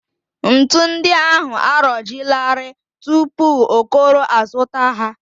Ntu ndị ahụ arọjielarị tupu Okoro azụta ha